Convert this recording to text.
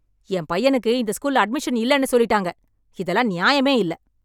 என் பையனுக்கு இந்த ஸ்கூல்ல அட்மிஷன் இல்லைன்னு சொல்லிட்டாங்க. இதெல்லாம் நியாயமே இல்ல‌